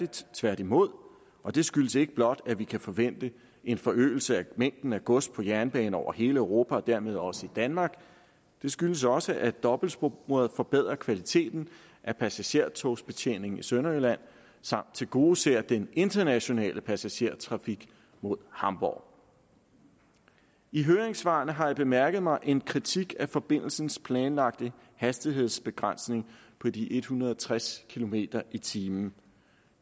tværtimod og det skyldes ikke blot at vi kan forvente en forøgelse af mængden af gods på jernbane over hele europa og dermed også i danmark det skyldes også at dobbeltsporet forbedrer kvaliteten af passagertogsbetjeningen i sønderjylland samt tilgodeser den internationale passagertrafik mod hamborg i høringssvarene har jeg bemærket mig en kritik af forbindelsens planlagte hastighedsbegrænsning på de en hundrede og tres kilometer per time